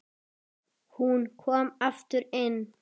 Hún kom aftur inn